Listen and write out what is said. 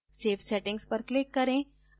save settings पर click करें